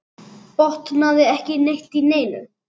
Botnaði ekki neitt í neinu.